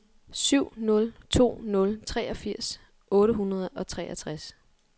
syv nul to nul treogfirs otte hundrede og treogtres